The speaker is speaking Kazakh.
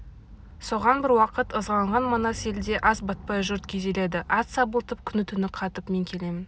соған бір уақыт ызаланған манас елде ас батпай жұрт күйзеледі ат сабылтып күні-түні қатып мен келемін